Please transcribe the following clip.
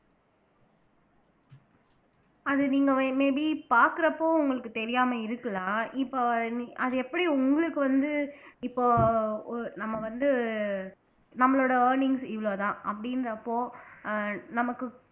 அது நீங்க வே may be பாக்குறப்போ உங்களுக்கு தெரியாம இருக்கலாம் இப்ப நீ அது எப்படி உங்களுக்கு வந்து இப்போ ஒ நம்ம வந்து நம்மளோட earnings இவ்வளவுதான் அப்படின்றப்போ ஆஹ் நமக்கு